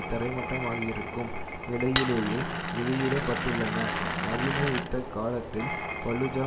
தரைமட்டமாக்கியிருக்கும் நிலையிலேயே வெளியிட பட்டுள்ளன நவீன யுத்த காலத்தில் பலுஜா